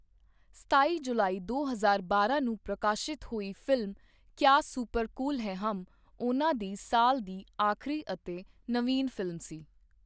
ਸਤਾਈ ਜੁਲਾਈ ਦੋ ਹਜ਼ਾਰ ਬਾਰਾਂ ਨੂੰ ਪ੍ਰਕਾਸ਼ਿਤ ਹੋਈ film 'Kya super cool Hai Hum' ਉਹਨਾਂ ਦੀ ਸਾਲ ਦੀ ਆਖਰੀ ਅਤੇ ਨਵੀਨ ਫਿਲਮ ਸੀ।